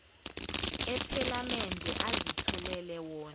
ephalamende azitholele wona